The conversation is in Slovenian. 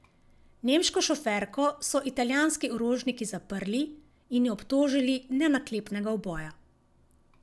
Nemško šoferko so italijanski orožniki zaprli in jo obtožili nenaklepnega uboja.